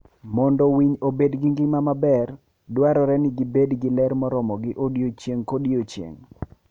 Mondo winy obed gi ngima maber, dwarore ni gibed gi ler moromogi odiechieng' kodiechieng'.